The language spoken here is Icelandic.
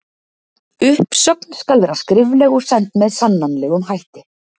Uppsögn skal vera skrifleg og send með sannanlegum hætti.